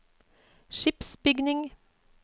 skipsbygging